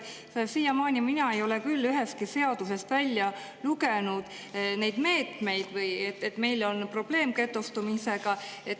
Siiamaani mina ei ole küll ühestki seadusest välja lugenud neid meetmeid või seda, et meil on probleem getostumisega.